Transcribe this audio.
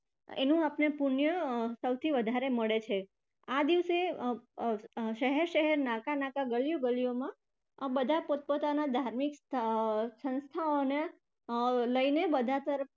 એનું આપણને પુણ્ય સૌથી વધારે મળે છે. આ દિવસે અર શહેર-શહેર, નાકા-નાકા, ગલિયો-ગલિયોમાં બધા પોતપોતાના ધાર્મિક અર સંસ્થાઓને અર લઈને બજાર તરફ